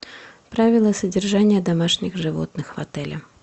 правила содержания домашних животных в отеле